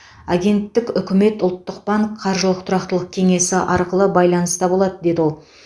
агенттік үкімет ұлттық банк қаржылық тұрақтылық кеңесі арқылы байланыста болады деді ол